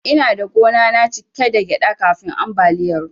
Ina da gona cike da gyaɗa kafin ambaliyar ruwan.